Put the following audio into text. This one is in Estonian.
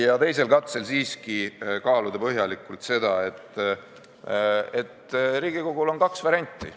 ... ja teisel katsel siiski kaaluda põhjalikult seda, et Riigikogul on kaks varianti.